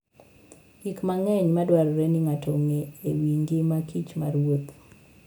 Gik mang'eny madwarore ni ng'ato ong'e e wi ngima kich maruoth .